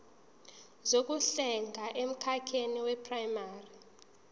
zokuhlenga emkhakheni weprayimari